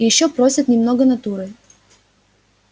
и ещё просят немного натурой